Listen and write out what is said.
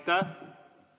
Aitäh!